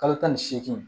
Kalo tan ni seegin